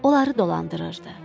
Onları dolandırırdı.